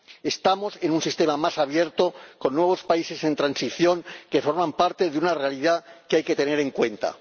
Estamos en un sistema más abierto, con nuevos países en transición que forman parte de una realidad que hay que tener en cuenta.